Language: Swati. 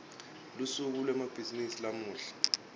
lusuku lwemabhizimisi lamuhla